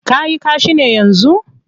Ka yi kashi ne yanzu?